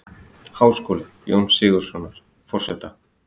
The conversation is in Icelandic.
Háskóla, Jóns Sigurðssonar, forseta.